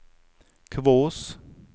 Kvås